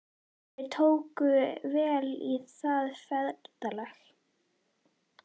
Þeir tóku vel í það, feðgarnir.